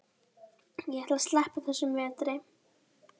Ég ætla að sleppa þessum vetri.